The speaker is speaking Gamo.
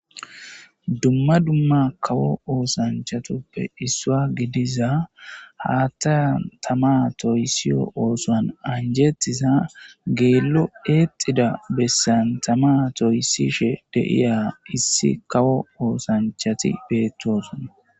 Duma duma kawo ossanchatuppe issuwa gidiza haththan tama toyssiyo ossuwan anjettiza gellon exxida besan tama toyisishe diza issi kawo osanchchati de'osona.